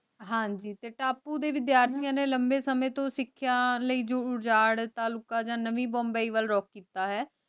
ਹਾਂਜੀ ਤੇ ਤਪੁ ਦੇ ਵਿਦ੍ਯਾਰ੍ਥਿਯਾਂ ਨੇ ਲੰਬੇ ਸਮੇ ਤੋਂ ਸਿਖ੍ਯਾਂ ਲੈ ਜੋ ਉਜਾਰ ਤਾਲੁਕਾ ਯਾ ਨਵੀ ਮੁੰਬਈ ਲੈ ਰੁਕ ਕੀਤਾ ਹੈ